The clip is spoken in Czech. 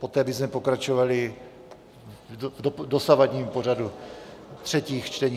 Poté bychom pokračovali v dosavadním pořadu třetích čtení.